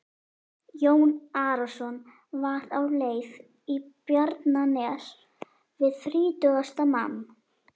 Jón Arason var á leið í Bjarnanes við þrítugasta mann.